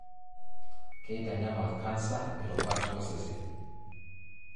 Keitanyamal cancer irubat osesen.